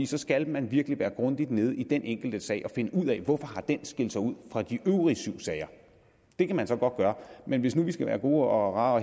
så skal man virkelig være grundigt nede i den enkelte sag og finde ud af hvorfor den har skilt sig ud fra de øvrige syv sager det kan man så godt gøre men hvis nu vi skal være gode og rare